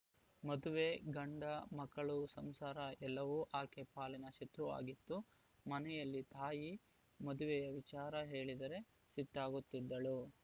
ಮದುವೆ ಗಂಡ ಮಕ್ಕಳು ಸಂಸಾರ ಎಲ್ಲವೂ ಆಕೆ ಪಾಲಿನ ಶತ್ರುವಾಗಿತ್ತು ಮನೆಯಲ್ಲಿ ತಾಯಿ ಮದುವೆಯ ವಿಚಾರ ಹೇಳಿದರೆ ಸಿಟ್ಟಾಗುತ್ತಿದ್ದಳು